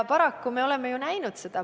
Paraku me oleme seda näinud.